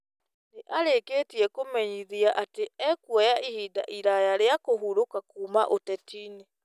Nĩ arĩkĩtie kũmenyithia atĩ nĩ ekuoya ihinda iraya rĩa kũhurũka kuuma ũtetinĩ.